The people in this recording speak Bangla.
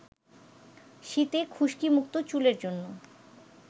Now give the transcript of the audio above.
শীতে খুশকিমুক্ত চুলের জন্য